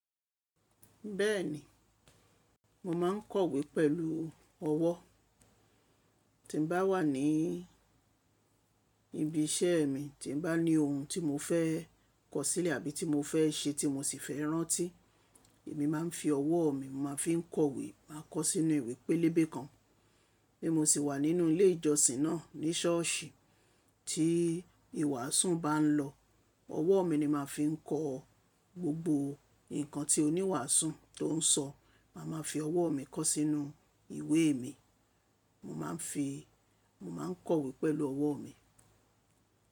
Bẹ́ẹ̀ni, mo máa ń kọ̀wé pẹ̀lú ọwọ́. Tí n bá wà ní ibi iṣẹ́ mi, tí n bá ní ohun tí mo fẹ́ kọ sílẹ̀ àbí tí mo fẹ́ ṣe tí mo sì fẹ́ rántí, èmi máa ń fi ọwọ́ mi, mo máa fi ń kọ̀wé, máa kọ ó sínú ìwé pélébé kan. Bí mo sì wà nínú ilé ìjọsìn náà, ní ṣọ́ọ̀ṣì, tí ìwàsùn bá ń lọ, ọwọ́ mi ni máa fi ń kọ gbogbo nǹkan tí oníwàsùn tó ń sọ. Màá máa fi ọwọ́ mi kọ́ sínú ìwé mi. Mo máa ń fi, mo máa ń kọ̀wé pẹ̀lú ọwọ́ mi.